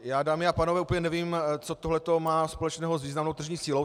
Já, dámy a pánové, úplně nevím, co tohleto má společného s významnou tržní sílou.